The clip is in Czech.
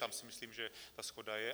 Tam si myslím, že ta shoda je.